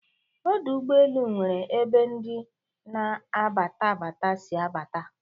Ọdọ ụgbọelu newere ebe ndi n' abatabata si abata